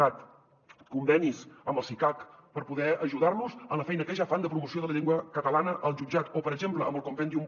cat convenis amb el cicac per poder ajudar los en la feina que ja fan de promoció de la llengua catalana al jutjat o per exemple amb el compendium